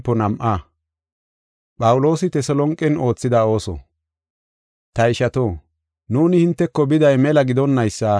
Ta ishato, nuuni hinteko biday mela gidonnaysa hinte, hinte huuphen ereeta.